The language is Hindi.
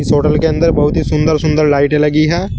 इस होटल के अंदर बहुत ही सुंदर सुंदर लाइटें लगी हैं।